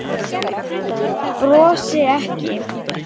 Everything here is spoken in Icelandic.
Brosi ekki.